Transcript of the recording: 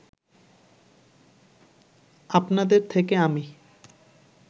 আপনাদের থেকে আমি